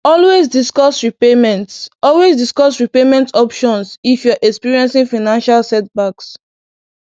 Always discuss repayment Always discuss repayment options if you're experiencing financial setbacks.